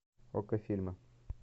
окко фильмы